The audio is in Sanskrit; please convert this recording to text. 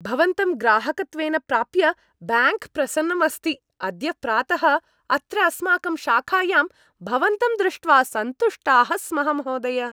भवन्तं ग्राहकत्वेन प्राप्य ब्याङ्क् प्रसन्नम् अस्ति, अद्य प्रातः अत्र अस्माकं शाखायां भवन्तं दृष्ट्वा सन्तुष्टाः स्मः, महोदय